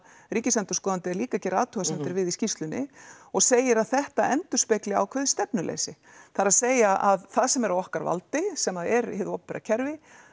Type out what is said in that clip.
ríkisendurskoðandi er líka gera athugasemdir við í skýrslunni og segir að þetta endurspegli ákveðið stefnuleysi það er að að það sem er á okkar valdi sem er hið opinbera kerfi